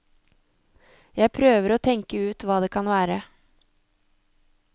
Jeg prøver å tenke ut hva det kan være.